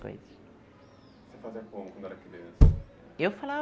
coisa. Você fazia como quando era criança? Eu